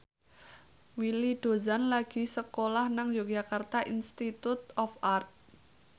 Willy Dozan lagi sekolah nang Yogyakarta Institute of Art